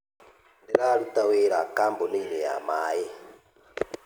Ndĩraruta wĩra kambuni-inĩ ya maĩ.